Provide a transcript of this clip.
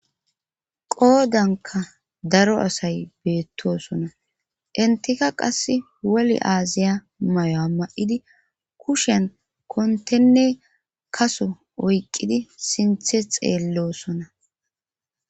qoodanka daro asay beettosona intika qass woli aaziya mayuwa ma'idi kushen kontenne kaso oyqqidi sinthe xeellosona